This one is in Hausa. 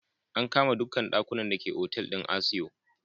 An kama dukkan dakunan da ke Otal din Asio.